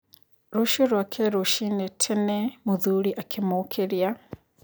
Rũcio rwake rũcinĩ tena mũthuri akĩmũkĩria.